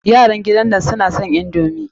Yaran gidan nan suna son indomi.